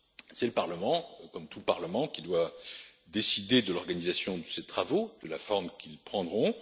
C'est le Parlement comme tout Parlement qui doit décider de l'organisation de ses travaux, de la forme qu'ils prendront.